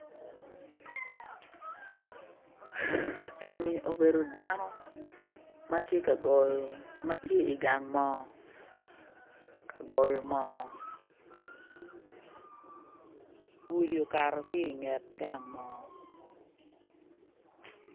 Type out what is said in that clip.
Eni obedo dano ma tye ka goyo, ma tye igang moo ka goyo moo gudi okato ki inget gang moo